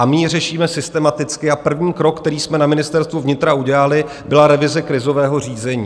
A my ji řešíme systematicky a první krok, který jsme na Ministerstvu vnitra udělali, byla revize krizového řízení.